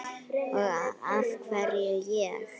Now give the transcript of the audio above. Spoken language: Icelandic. Og af hverju ég?